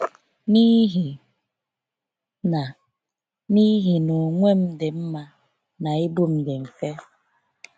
“N’ihi na “N’ihi na ogwe m dị mma, na ibu m dị mfe.